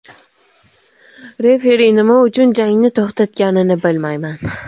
Referi nima uchun jangni to‘xtatganini bilmayman.